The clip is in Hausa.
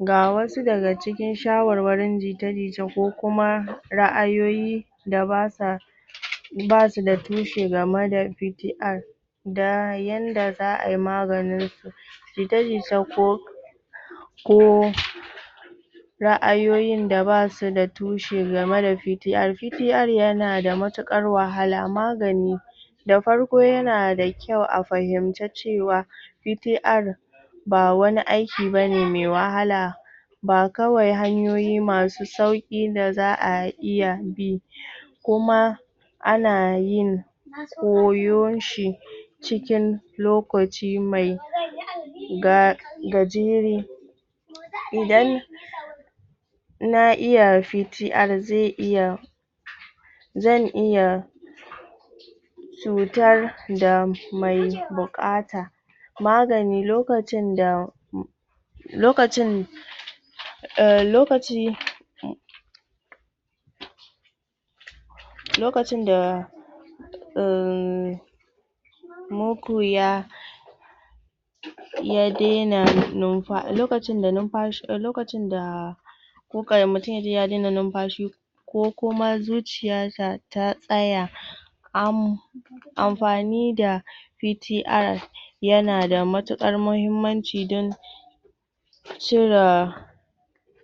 Ga wasu daga cikin shawarwarin jita-jita ko kuma ra'ayoyi da ba sa ba su da tushe game da PTR da yanda za a yi maganinsu jita-jita ko ko ra'ayoyin da ba su da tushe game da PTR PTR yana da matuƙar wahala magani da farko yana da kyau a fahimci cewa PTR ba wani aiki ba ne mai wahala ba kawai hanyoyimasu sauƙi da za a iya bi kuma ana yin koyon shi cikin lokaci mai ga gajere idan na iya PTR zai iya zan iya cutar da mai buƙata magani lokacin da lokacin emm lokaci lokacin da emmm? lokacin da ya daina numfa... lokacin da numfa...lokacin da mutum ya ji ya daina numfashi ko kuma zuciyarsa ta tsaya amm amfani da PTR yana da matuƙar muhimmanci don?